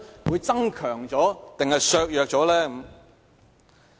會增強還是削弱？